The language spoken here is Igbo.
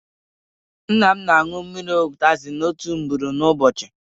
Nna m na anwụ mmiri utazi otu ugboro n'ụbọchị